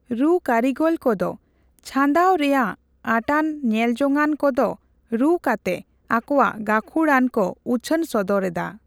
ᱨᱩᱼᱠᱟᱹᱨᱤᱜᱚᱞ ᱠᱚᱫᱚ ᱪᱷᱟᱸᱫᱟᱣ ᱨᱮᱭᱟᱜ ᱟᱸᱴᱟᱱ ᱧᱮᱞᱡᱚᱝᱟᱱ ᱠᱚᱫᱚ ᱨᱩ ᱠᱟᱛᱮ ᱟᱠᱚᱣᱟᱜ ᱜᱟᱹᱠᱷᱩᱲᱟᱱᱠᱚ ᱩᱪᱷᱟᱹᱱ ᱥᱚᱫᱚᱨ ᱮᱫᱟ ᱾